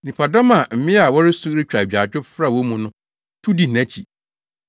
Nnipadɔm a mmea a wɔresu retwa agyaadwo fra wɔn mu no, tu dii nʼakyi.